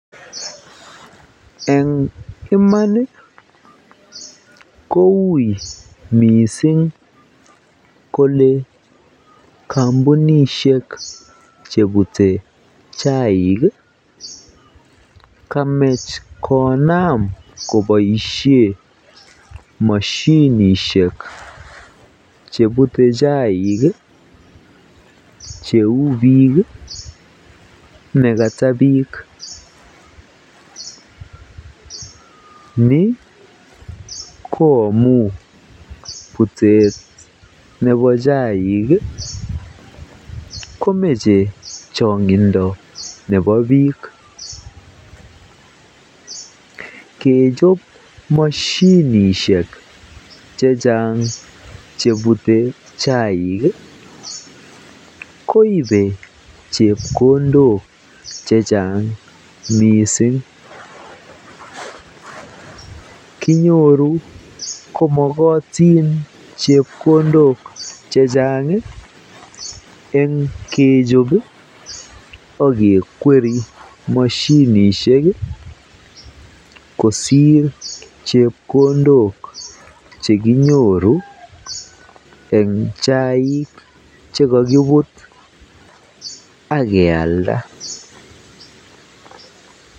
Eng iman koui mising kolee kombunishek chebute chaik kamach konam koboishen moshinishek chebute chaik cheu biik nekata biik, nii ko amun butet nebo chaik komoche chongindo nebo biik, kechob moshinishek chechang chebute chaik koibe chepkondok chechang mising, kinyoru komokotin chepkondok chechang eng kechob okekweri moshinishek kosir chepkondok chekinyoru en chaik chekakibut ak kealda.